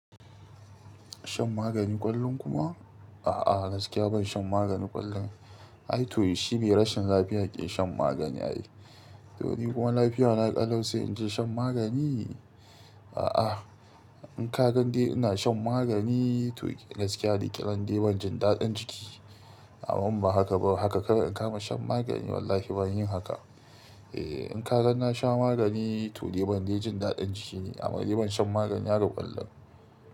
Shan magani ƙwallon kuma? A'a, gaskiya ban shan magani ƙwallon. Ai to shi be rashin lafiya ke shan magani ai. To ni kuma lafiya na ƙalau, sai in je shan magani? A'a, in ka ga dai ina shan magani to gaskiya likitan dai ban jin daɗin jiki. Amman ba haka ba haka, kawai in kama shan magani wallahi ban yi haka. Eh, in ka gan na sha magani to dai ban dai jin daɗin jikine, amma dai ban shan magani haka ƙwallon.